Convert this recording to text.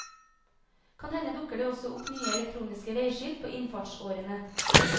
Kan hende dukker det også opp nye elektroniske veiskilt på innfartsårene.